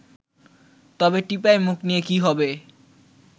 তবে টিপাইমুখ নিয়ে কী হবে